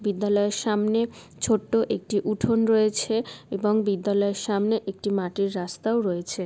বিদ্যালয়ের সামনে ছোট্ট একটি উঠোন রয়েছে এবং বিদ্যালয়ের সামনে একটি মাটির রাস্তাও রয়েছে।